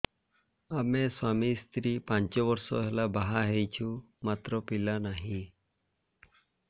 ଆମେ ସ୍ୱାମୀ ସ୍ତ୍ରୀ ପାଞ୍ଚ ବର୍ଷ ହେଲା ବାହା ହେଇଛୁ ମାତ୍ର ପିଲା ନାହିଁ